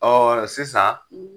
Ɔ ɔ sisan